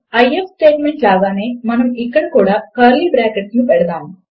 if statement లాగానే మనము ఇక్కడ కూడా కర్లీ బ్రాకెట్ లను పెడతాము